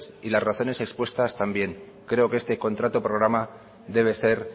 y las razones expuestas también creo que este contrato programa debe ser